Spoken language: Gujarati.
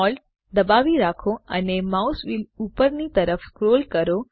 Shift Alt દબાવી રાખો અને માઉસ વ્હીલ ઉપરની તરફ સ્ક્રોલ કરો